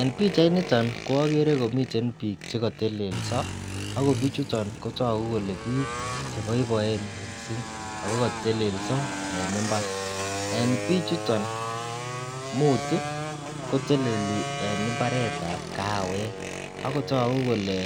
En pichainiton ko okere komiten bik chekotelelso akobichuton kotoku kele bik cheboiboe missing ako koteleldo en imbar. En bichuton mut tii koteleli en imbaretab kaawek akotoku kole